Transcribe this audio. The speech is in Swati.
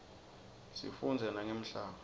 sifundza nangemhlaba